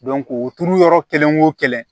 o turu yɔrɔ kelen wo kelen